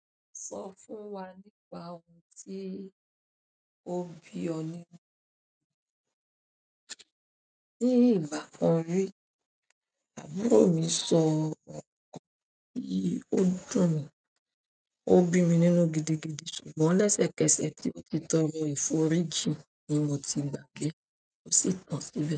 Sọ fún wa nípa ohun tí o bí ọ nínú. Ní ìgbà kan rí, àbúrò mi sọ ọ̀rọ̀ tí ó dùn mi, ó bí mi nínú gidigidi, ṣùgbọ́n lẹ́sẹ̀kẹsẹ̀ tí ó ti tọrọ ìforíji ni mo ti gbagbé, ò sì tàn síbẹ̀